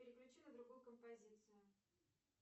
переключи на другую композицию